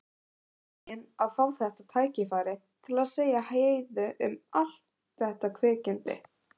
Hún var fegin að fá þetta tækifæri til að segja Heiðu allt um þetta kvikindi.